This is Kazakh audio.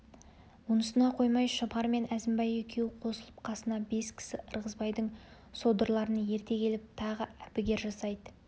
онысына қоймай шұбар мен әзімбай екеуі қосылып қасына бес кісі ырғызбайдың содырларын ерте келіп тағы әбігер жасайды